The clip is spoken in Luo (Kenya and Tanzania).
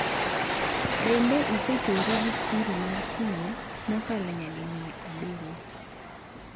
Bende, osechuore gi kwiri mar thuol mokalo nyadi mia abiriyo